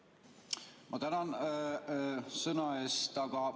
Ma tänan sõnaandmise eest!